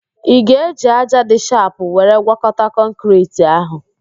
Ị ga-eji ájá dị shapụ were gwọkọta kọnkịriti ahụ?